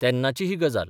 तेन्नाची ही गजाल.